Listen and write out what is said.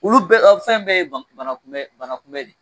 Olu bɛɛ ɛ fɛn fɛn ye banakunbɛn Banakunbɛn